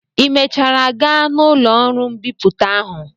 Ị mechara gaa na ụlọ ọrụ mbipụta ahụ?